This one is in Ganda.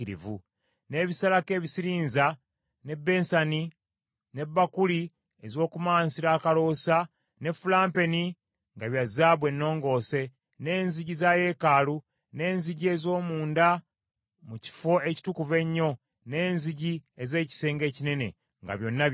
n’ebisalako ebisirinza, ne bensani, ne bbakuli ez’okumansira akaloosa, ne fulampeni nga bya zaabu ennongoose, n’enzigi za yeekaalu, n’enzigi ez’omunda mu Kifo Ekitukuvu Ennyo, n’enzigi ez’ekisenge ekinene, nga byonna bya zaabu.